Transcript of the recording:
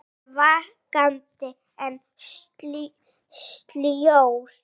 Hann er vakandi en sljór.